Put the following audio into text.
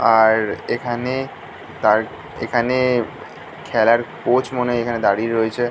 আর এখানে তার এখানে খেলার কোচ মনে হয় এখানে দাঁড়িয়ে রয়েছে--